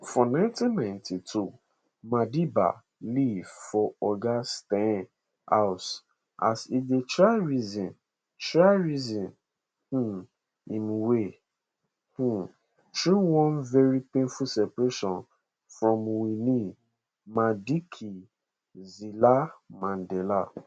for 1992 madiba live for [oga steyn] house as e dey try reason try reason um im way um through one very painful separation from winnie madikizelamandela